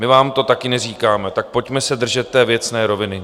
My vám to taky neříkáme, tak pojďme se držet té věcné roviny.